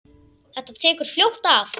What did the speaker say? Þetta tekur fljótt af.